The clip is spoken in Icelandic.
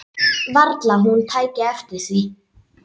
Varla hún tæki eftir því.